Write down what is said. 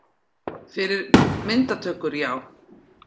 Fyrir myndatökur, já.